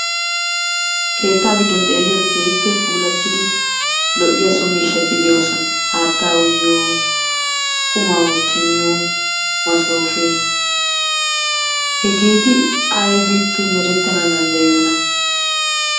Keettaa giddon xeeliyode keehippe puulattidi lo'iya so miishshaati de'oosona. Haattaa uyiyo, qummaa wotti miyo, masooppe, hegeeti aybippe merettana danddayiyona?